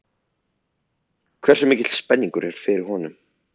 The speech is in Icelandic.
Hversu mikil spenningur er fyrir honum?